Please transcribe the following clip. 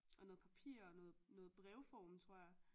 Og noget papir og noget brev form tror jeg